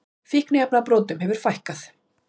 Fíkniefnabrotum hefur fækkað